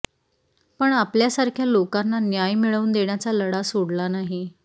पण आपल्यासारख्या लोकांना न्याय मिळवून देण्याचा लढा सोडला नाही